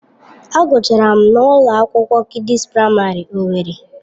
Agụchara m na ụlọ akwụkwọ Kidịs Praịmarị owerri.